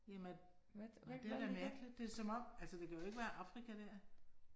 Jamen at, det da mærkeligt, det er som om, altså det kan jo ikke være Afrika der